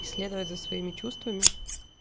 и следовать за своими чувствами